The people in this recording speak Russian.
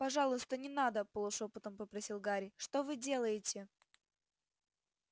пожалуйста не надо полушёпотом попросил гарри что вы делаете